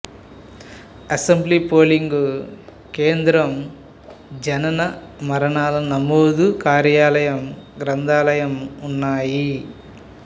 assembly polling కేంద్రం జనన మరణాల నమోదు కార్యాలయం గ్రంథాలయం ఉన్నాయి